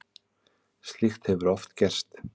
Slíkt hefur oft gerst.